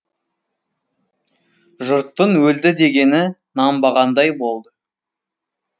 жұрттың өлді дегені нанбағандай болды